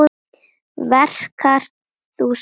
Verkar þú súrmat?